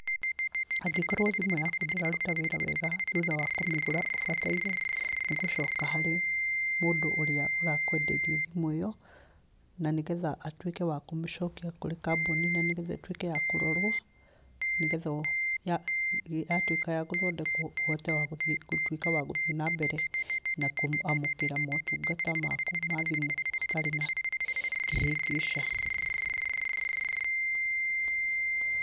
Angĩkorwo thimũ yaku ndĩraruta wĩra wega thutha wakũmĩgũra ũbataire nĩ gũcoka harĩ mũndũ ũrĩa ũrakwendeirie thimũ ĩyo na nĩgetha ĩtuĩke wa kũmĩcokio kambuni -inĩ nanĩ getha ĩtuĩke ya kũrorwo nĩgetha yatuĩka yagũthondekwo ũtwĩke wa gũthiĩ na mbere na kwamũkĩra motungata maku ma thimu hatarĩ na kĩhĩngĩca.